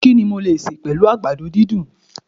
Kini mo lè sẹ̀ pẹ̀lú àgbàdo dúndùn?